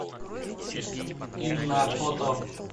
инна фото